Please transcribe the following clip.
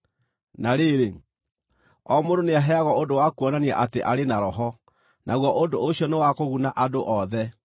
Na rĩrĩ, o mũndũ nĩaheagwo ũndũ wa kuonania atĩ arĩ na Roho, naguo ũndũ ũcio nĩ wa kũguna andũ othe.